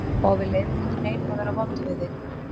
Og við leyfum ekki neinum að vera vondur við þig.